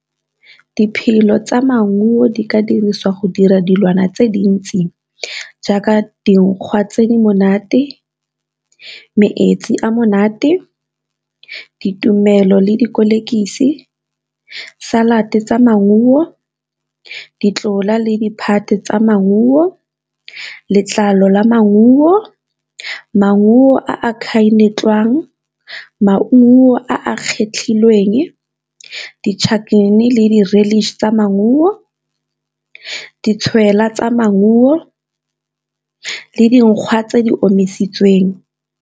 tsa maungo di ka dirisiwa go dira dilwana tse dintsi jaaka dinkgwa tse Di monate, metsi a monate, ditumelo le , salate tsa maungo, ditlola le diphate tsa maungo, letlalo la maungo, maungo a a , maungo a a kgetlhilweng, di-chutney le tsa maungo, ditshwela tsa maungo le dinkgwa tse di omisitsweng.